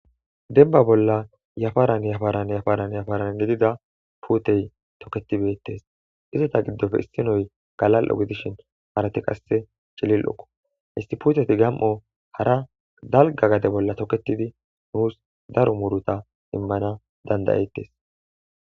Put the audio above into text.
Demba bolla yafaran yafaran yafaran gidida puutey tokketi beetees. Izeta giddope isinozi galal'o gidishin isinozi qasse cililoko.isti puuteti gam'o hara dalga gade bolla toketidi nuus daro muuruta immanas danda'etees.